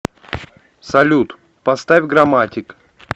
салют поставь граматик